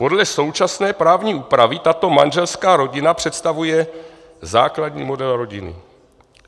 Podle současné právní úpravy tato manželská rodina představuje základní model rodiny.